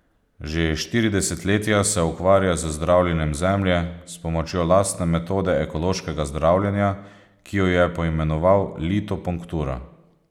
Že štiri desetletja se ukvarja z zdravljenjem Zemlje s pomočjo lastne metode ekološkega zdravljenja, ki jo je poimenoval litopunktura.